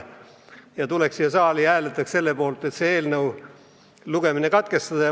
Ja et nad tulevad siia saali ja hääletavad selle poolt, et eelnõu teine lugemine katkestada.